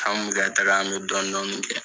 An bɛ ka taga an bɛ dɔɔnin dɔɔnin kɛ.